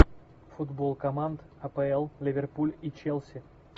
футбол команд апл ливерпуль и челси